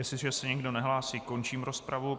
Jestliže se nikdo nehlásí, končím rozpravu.